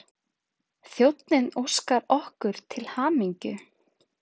Þjónninn óskar okkur til hamingju.